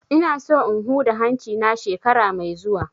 Ina so in huda hanci na shekara mai zuwa